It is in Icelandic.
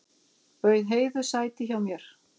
Bauð Heiðu sæti hjá mér.